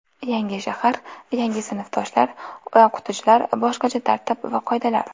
Yangi shahar, yangi sinfdoshlar, o‘qituvchilar, boshqacha tartib va qoidalar.